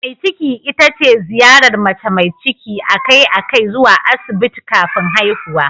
Mai ciki ita ce ziyarar mace mai ciki a kai a kai zuwa Asibiti kafin haihuwa.